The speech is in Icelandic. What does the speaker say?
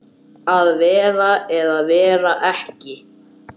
Að vera eða vera ekki.